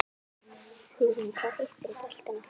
Hugrún: Hvað hittirðu boltann oft?